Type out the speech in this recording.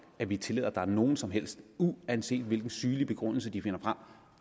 at vi tillader at der er nogen som helst uanset hvilken sygelig begrundelse de finder frem